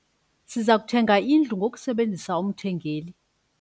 Siza kuthenga indlu ngokusebenzisa umthengeli.